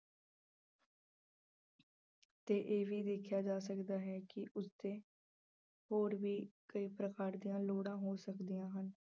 ਤੇ ਇਹ ਵੀ ਵੇਖਿਆ ਜਾ ਸਕਦਾ ਹੈ ਕਿ ਉਸ ਤੇ ਹੋਰ ਵੀ ਕਈ ਪ੍ਰਕਾਰ ਦੀਆਂ ਲੋੜਾਂ ਹੋ ਸਕਦੀਆਂ ਹਨ।